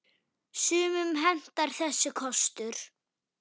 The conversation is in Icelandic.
Sumum hentar þessi kostur.